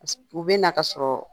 U bɛ na ka sɔrɔ